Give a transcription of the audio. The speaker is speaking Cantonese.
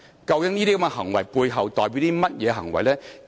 究竟這些行為背後代表的是甚麼呢？